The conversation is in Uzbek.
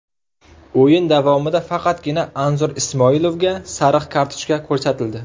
O‘yin davomida faqatgina Anzur Ismoilovga sariq kartochka ko‘rsatildi.